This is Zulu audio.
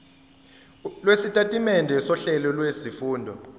lwesitatimende sohlelo lwezifundo